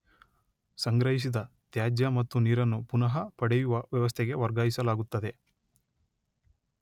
ಸಂಗ್ರಹಿಸಿದ ತ್ಯಾಜ್ಯ ಮತ್ತು ನೀರನ್ನು ಪುನಃ ಪಡೆಯುವ ವ್ಯವಸ್ಥೆಗೆ ವರ್ಗಾಯಿಸಲಾಗುತ್ತದೆ.